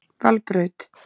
Valbraut